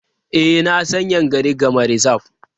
E, na san Yankari Game Reserve.